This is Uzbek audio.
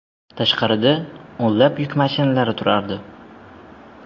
Tashqarida o‘nlab yuk mashinalari turardi.